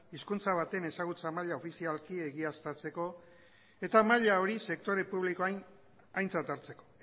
hizkuntza baten ezagutza maila ofizialki egiaztatzeko eta maila hori sektore publikoan aintzat hartzeko